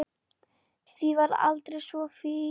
Þú varst alltaf svo fín.